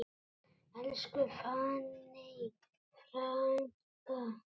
Elsku fanney frænka.